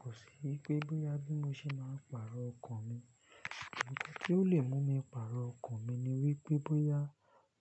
Kò sí í pé bóyá bí mo ṣe máa ń pààrọ̀ ọkọ̀ mi. Tí ó lè mú mi pààrọ̀ ọkọ̀ mi ni wípé bóyá